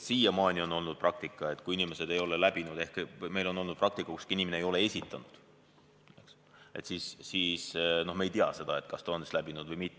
Siiamaani on olnud selline praktika, et kui inimesed ei ole kontrolli läbinud – ehk meie puhul inimene ei ole taotlust esitanud, eks –, siis me ei tea seda, kas ta on läbinud või mitte.